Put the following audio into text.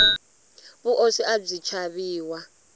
vuoswi abyi chaviwa